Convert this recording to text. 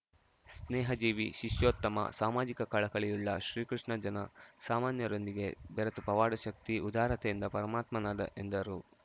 ಸ್ನೇಹ ಜೀವಿ ಶಿಷ್ಯೋತ್ತಮ ಸಾಮಾಜಿಕ ಕಳಕಳಿಯುಳ್ಳ ಶ್ರೀಕೃಷ್ಣ ಜನ ಸಾಮಾನ್ಯರೊಂದಿಗೆ ಬೆರೆತು ಪವಾಡ ಶಕ್ತಿ ಉದಾರತೆಯಿಂದ ಪರಮಾತ್ಮನಾದ ಎಂದರು